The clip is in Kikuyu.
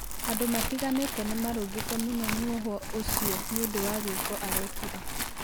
andũ matĩganĩte nimarũngĩte mũno mũhwo ũcĩo nĩũnfũ wa gĩko arekĩre